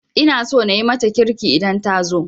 Ina so na yi mata kirki idan ta zo